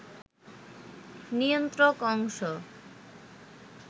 নিয়ন্ত্রক অংশ